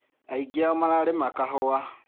Aingĩ ao mararĩma kahũa.